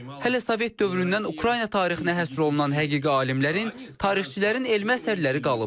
Hələ sovet dövründən Ukrayna tarixinə həsr olunan həqiqi alimlərin, tarixçilərin elmi əsərləri qalıb.